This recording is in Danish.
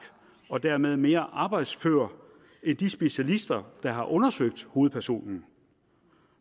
og dermed mere arbejdsfør end de specialister der har undersøgt hovedpersonen